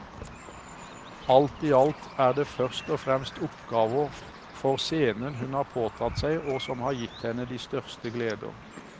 Alt i alt er det først og fremst oppgaver for scenen hun har påtatt seg og som har gitt henne de største gleder.